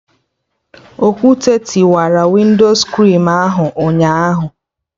Okwute kụwara winscrin ahụ ụnyaahụ